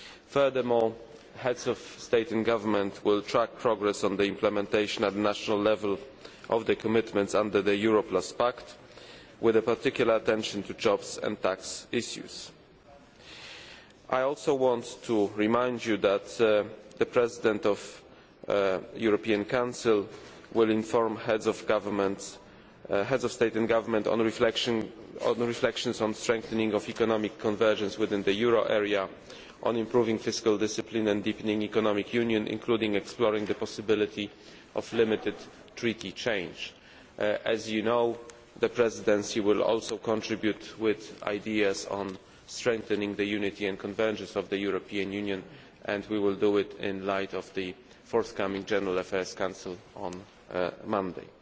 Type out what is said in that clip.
Furthermore, Heads of State and Government will track progress on the implementation at national level of the commitments under the Euro Plus Pact, with particular attention to jobs and tax issues. I also want to remind you that the President of the European Council will inform Heads of State and Government of the reflections on the strengthening of economic convergence within the euro area, on improving fiscal discipline and on deepening economic union, including exploring the possibility of limited Treaty change. As you know, the Presidency will also contribute with ideas on strengthening the unity and convergence of the European Union and we will do this in the light of the forthcoming General Affairs Council on Monday.